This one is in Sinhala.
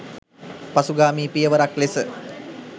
පසුගාමී පියවරක් ලෙස.